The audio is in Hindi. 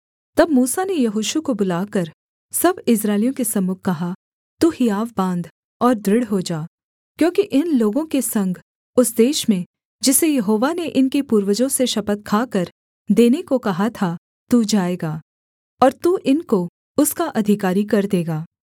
तब मूसा ने यहोशू को बुलाकर सब इस्राएलियों के सम्मुख कहा तू हियाव बाँध और दृढ़ हो जा क्योंकि इन लोगों के संग उस देश में जिसे यहोवा ने इनके पूर्वजों से शपथ खाकर देने को कहा था तू जाएगा और तू इनको उसका अधिकारी कर देगा